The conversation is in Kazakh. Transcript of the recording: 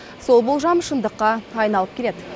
сол болжам шындыққа айналып келеді